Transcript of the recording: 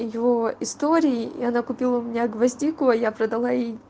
её истории и она купила у меня гвоздику а я продала ей